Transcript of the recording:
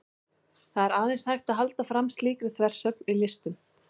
það er aðeins hægt að halda fram slíkri þversögn í listum